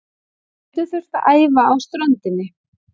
Gætu þurft að æfa á ströndinni